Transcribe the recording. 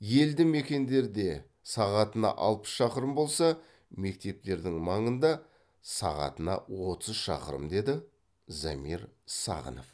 елді мекендерде сағатына алпыс шақырым болса мектептердің маңында сағатына отыз шақырым деді замир сағынов